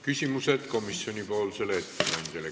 Küsimused komisjoni ettekandjale.